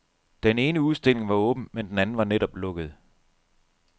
Den ene udstilling var åben, men den anden var netop lukket.